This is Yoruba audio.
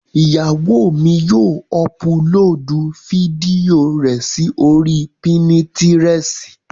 Ìyàwó mi yóò ọpulóòdù fídíò rẹ sí oríi pínítiresì